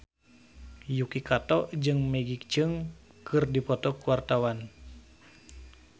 Yuki Kato jeung Maggie Cheung keur dipoto ku wartawan